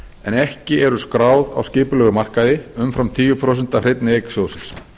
en ekki eru skráð á skipulegum markaði umfram tíu prósent af hreinni eign sjóðsins